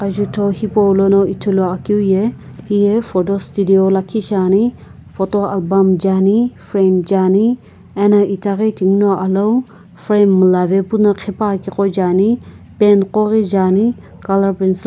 ajutho hipou lono Ithulu akeu ye hiye photo studio lakhi shiane photo pum nae ane fram jaeane ana itaghi tighono alou fram miila ve puno khipaepakeu jaeane pen koghi jae ane colour pencil --